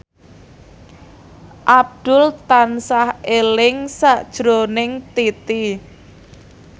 Abdul tansah eling sakjroning Titi